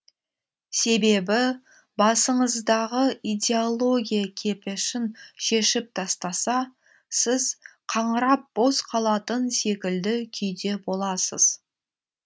себебі басыңыздағы идеология кепешін шешіп тастаса сіз қаңырап бос қалатын секілді күйде боласыз